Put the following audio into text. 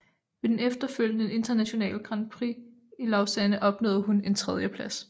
Ved det efterfølgende internationale grand prix i Lausanne opnåede hun en tredjeplads